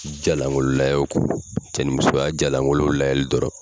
Ja lankolon layɛ kɔ. Cɛ ni musoya ja lankolonw layɛli dɔrɔn.